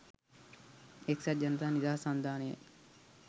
එක්සත් ජනතා නිදහස් සන්ධානයයි